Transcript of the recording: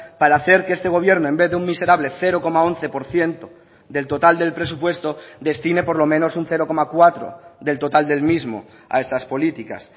para hacer que este gobierno en vez de un miserable cero coma once por ciento del total del presupuesto destine por lo menos un cero coma cuatro del total del mismo a estas políticas